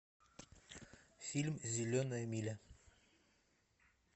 фильм зеленая миля